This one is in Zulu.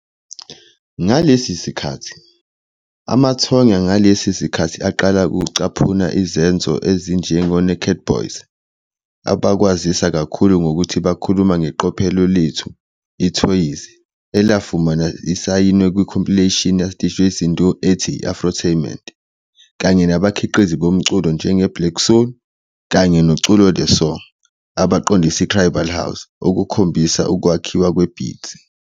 Ngalesi sikhathi, amathonya ngalesi sikhathi aqala ukucaphuna izenzo ezinjenge-Naked Boyz, abakwaziwa kakhulu ngokuthi bakhuluma ngeqophelo lethu "IIthoyizi" elafumana isayinwe ku-compilation yakwaDJ Cndo ethi "i-Afrotainment," kanye nabakhiqizi bomculo njengeBlaq Soul kanye neCuloe De Song abaqondisa ithribali house, okukhombisa ukwakhiwa kwe-beat.